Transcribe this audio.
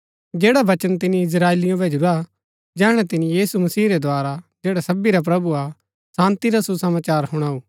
जैडा वचन तिनी इस्त्राएलिओ भैजुरा जैहणै तिनी यीशु मसीह रै द्धारा जैडा सबी रा प्रभु हा शान्ती रा सुसमाचार हुणाऊ